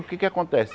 O que é que acontece?